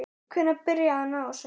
Hvenær byrjaði hann á þessu?